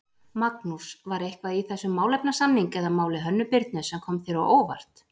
Magnús: var eitthvað í þessum málefnasamning eða máli Hönnu Birnu sem kom þér á óvart?